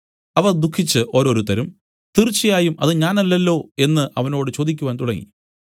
അവർ ദുഃഖിച്ചു ഓരോരുത്തരും തീർച്ചയായും അത് ഞാനല്ലല്ലോ എന്നു അവനോട് ചോദിക്കാൻ തുടങ്ങി